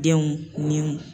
Denw ninw